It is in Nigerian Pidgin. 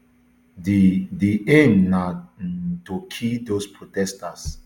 di di aim na um to kill dose protesters